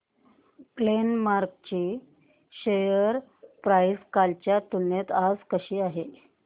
Glenmark ची share price कालच्या तुलनेत आज कशी आहे